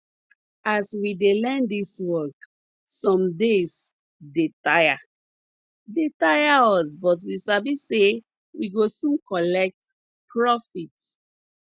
as we dey learn dis work some days dey tire dey tire us but we sabi say we go soon collect profit